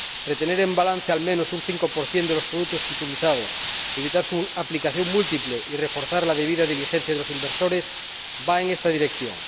Retener en balance al menos un 5 de los productos titulizados, evitar su aplicación múltiple y reforzar la debida diligencia de los inversores va en esta dirección.